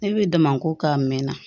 Ne bɛ damako k'a mɛn na